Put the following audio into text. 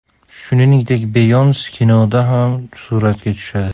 Shuningdek, Beyonce kinoda ham suratga tushadi.